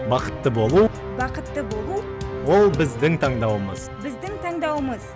бақытты болу бақытты болу ол біздің таңдауымыз біздің таңдауымыз